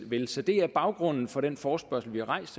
vil så det er baggrunden for den forespørgsel vi har rejst